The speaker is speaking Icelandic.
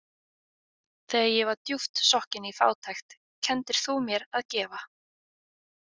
Þegar ég var djúpt sokkinn í fátækt, kenndir þú mér að gefa.